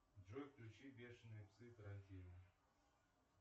джой включи бешеные псы тарантино